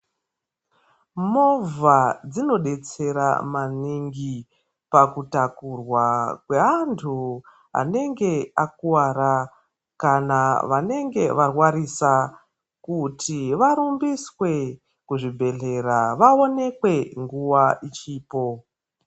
Movha dzinodetsera maningi, pakutakurwa kweantu anenge akuwara kana vanenge varwarisa kuti warumbiswe kuzvibhedhlera waonekwe nguva ichiripo.